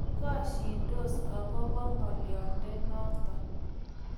makikosiondos akobo ng'olionde noto